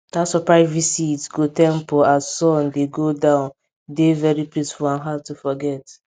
dat surprise visit go temple as sun dey go down dey very peaceful and hard to forget